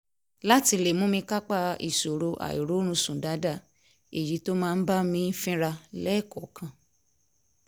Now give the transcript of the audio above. láti lè mú mi kápá ìṣòro àìróorunsùn dáadáa èyí tó máa ń bá mi fínra lẹ́ẹ̀kọ̀ọ̀kan